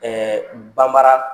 banbara